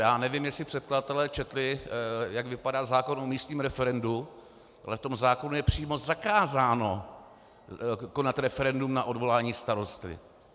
Já nevím, jestli předkladatelé četli, jak vypadá zákon o místním referendu, ale v tom zákonu je přímo zakázáno konat referendum na odvolání starosty.